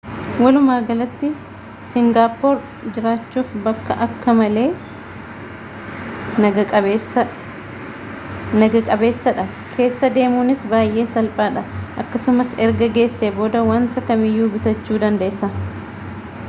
walumaagalatti singaappoor jiraachuuf bakka akka malee naga qabeessadha keessa deemuunis baay'ee salphaadha akkasumas erga geessee booda wanta kamiyyuu bitachuu dandeessa